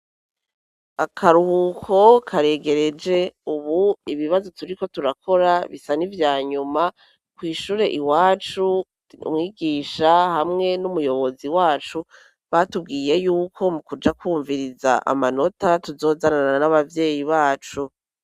Akaruhuko karegereje ubu ibibazo turiko turakora bisa n' ivya nyuma, kw'ishure iwacu, umwigisha hamwe n'umuyobozi wacu, batubwiye y'uko mu kuja kwumviriza amanota, tuzozanana n'abavyeyi bacu.